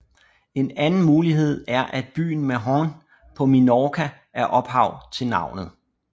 En anden mulighed er at byen Mahon på Minorca er ophav til navnet